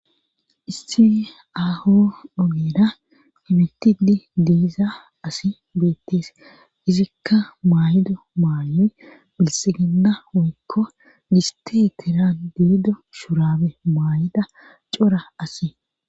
issi aho dugeda imitidi diiza asi beettees izikka maaydo maanoy bilsigida oykko giste teran diido shurabe maay7ida cora asi